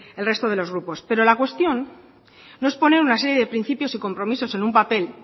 el resto de los grupos pero la cuestión no es poner una serie de principios y compromisos en un papel